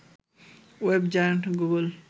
web giant Google